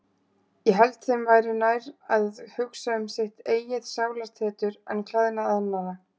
Ég held þeim væri nær að hugsa um sitt eigið sálartetur en klæðnað annarra.